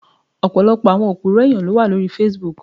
Many people are liars on Facebook.